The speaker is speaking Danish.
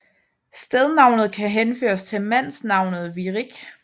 Stednavnet kan henføres til mandsnavnet Virik